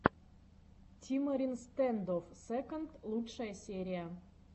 тимарин стэндофф секонд лучшая серия